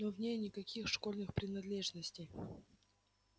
но в ней никаких школьных принадлежностей